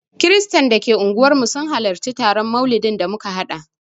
Kiristan da ke unguwarmu sun halarci taron maulidin da muka haɗa